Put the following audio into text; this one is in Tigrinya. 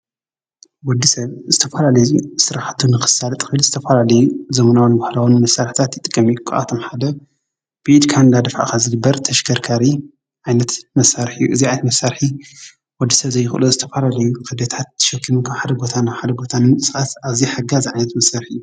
ወዲ ሰብ እስተፋራሌ ዙ ሥራኃቱ ንኽሳድ ጥሒድ ዝተፋላልዩ ዘምናውን ዋህላውን መሠርሕታት ይጥቀሚ ኣቶም ሓደ ቢድ ካንዳ ድፍኣኻ ዝድበር ተሽከርካሪ ኣይነት መሣርሕዩ እግዚኣኣት መሣርኂ ወዲ ሰብ ዘይኽሉ ዝስተፋረልዩ ኽደታት ሸኪም ካ ሓደ ቦታን ሓደ ቦታንን ስዓት ኣዚ ሕጋ ዝዓይነት መሠርሒ እዩ።